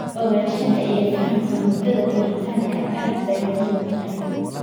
Ogaanshaha iyo fahamka muddada koritaanka aad bay muhiim u tahay.